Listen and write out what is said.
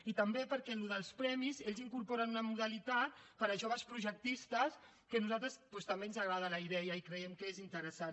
i també perquè en els premis ells incorporen una modalitat per a joves projectistes que a nosaltres doncs també ens agrada la idea i creiem que és interessant